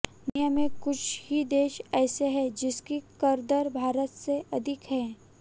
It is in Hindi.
दुनिया में कुछ ही देश ऐसे हैं जिनकी कर दर भारत से अधिक है